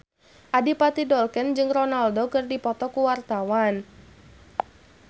Adipati Dolken jeung Ronaldo keur dipoto ku wartawan